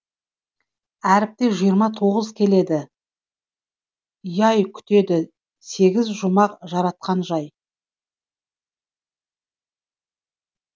әріпте жиырма тоғыз келеді күтеді сегіз жұмақ жаратқан жай